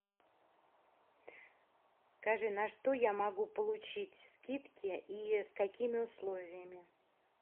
скажи на что я могу получить скидки и с какими условиями